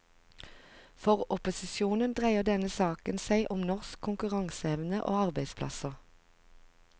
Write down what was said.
For opposisjonen dreier denne saken seg om norsk konkurranseevne og arbeidsplasser.